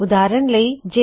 ਉਦਾਹਰਨ ਲਿਖਦੇ ਹਾਂ